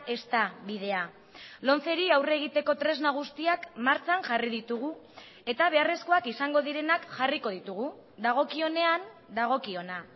ez da bidea lomceri aurre egiteko tresna guztiak martxan jarri ditugu eta beharrezkoak izango direnak jarriko ditugu dagokionean dagokiona